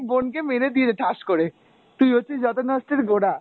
বোনকে মেরে দিয়েছে ঠাস করে, তুই হচ্ছিস যত নষ্টের গোড়া।